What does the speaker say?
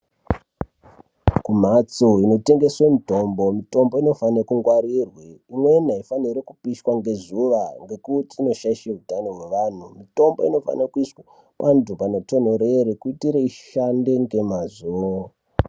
Kumhatso inotengeswe mitombo, mitombo inofane kungwarirwe. Imwene haifaniri kupishwa ngezuva ngekuti inoshaishe utano hwevanhu. Mitombo inofane kuiswa pantu panotonhorere kuitire ishande ngemazvo.